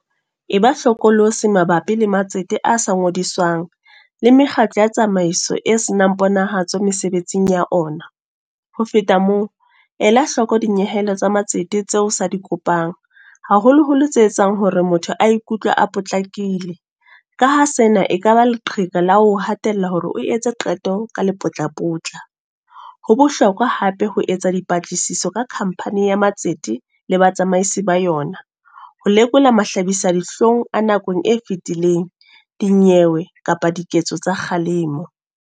E ba hlokolosi mabapi le matsete a sa ngodiswang. Le mekgatlo ya tsamaiso e senang ponahatsa mesebetsing ya ona. Ho feta moo, ela hloko dinyehelo tsa matsete tseo o sa di kopang. Haholoholo tse etsang hore motho a ikutlwe a potlakile. Ka ha sena ekaba leqheka la ho o hatella hore o etse qeto ka lepotlapotla. Ho bohlokwa hape ho etsa dipatlisiso ka Company ya matsete, le batsamaisi ba yona. Ho lekola mahlabisadihlong a nakong e fetileng, dinyewe kapa diketso tsa kgalemo.